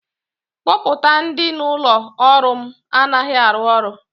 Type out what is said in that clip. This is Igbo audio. kọmputa dị n'ụlọ ọrụ m anaghị arụ ọrụ